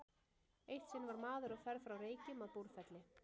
Eitt sinn var maður á ferð frá Reykjum að Búrfelli.